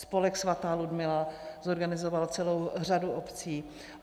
Spolek Svatá Ludmila zorganizoval celou řadu obcí.